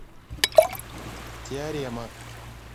теорема